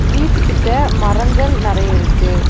வீட்டு கிட்ட மரங்கள் நெறைய இருக்கு.